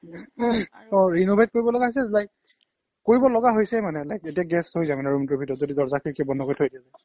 অ' renovate কৰিব লগা হৈছে like কৰিব লগা হৈছে মানে like এতিয়া গেছ হৈ যায় ৰূমটোৰ ভিতৰtৰ্ত যদি দৰ্জা খিৰিকি বন্ধ কৰি থৈ দিওঁ